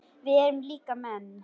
Við erum líka menn.